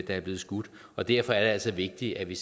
der er blevet skudt og derfor er det altså vigtigt at vi